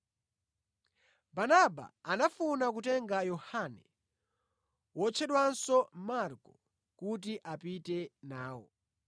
Barnaba anafuna kutenga Yohane, wotchedwanso Marko, kuti apite nawo.